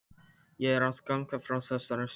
Ég er að ganga frá þessari sögu.